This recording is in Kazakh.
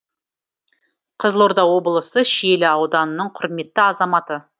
қызылорда облысы шиелі ауданының құрметті азаматы